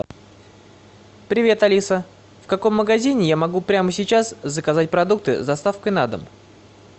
привет алиса в каком магазине я могу прямо сейчас заказать продукты с доставкой на дом